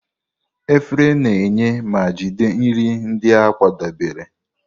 Efere na-enye ma jide nri ndị a kwadebere.